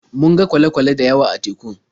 Mun ga kwale-kwale da yawa a teku.